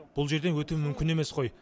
бұл жерден өту мүмкін емес қой